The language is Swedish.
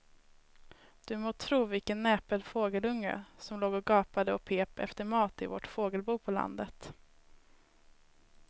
Du må tro vilken näpen fågelunge som låg och gapade och pep efter mat i vårt fågelbo på landet.